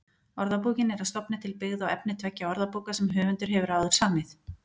Orðabókin er að stofni til byggð á efni tveggja orðabóka sem höfundur hefur áður samið.